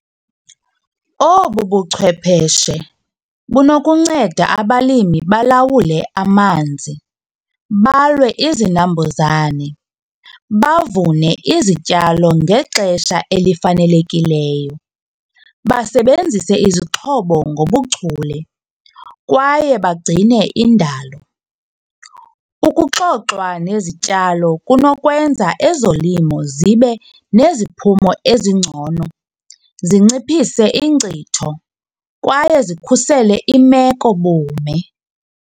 Obu buchwepheshe bunokuncenda abalimi balawule amanzi, balwe izinambuzane, bavune izityalo ngexesha elifanelekileyo basebenzise izixhobo ngobuchule kwaye bagcine indalo. Ukuxoxwa nezityalo kunokwenza ezolimo zibe neziphumo ezingcono zinciphise ingcitho kwaye zikhusele imekobume.